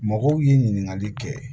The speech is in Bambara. Mɔgɔw ye ɲininkali kɛ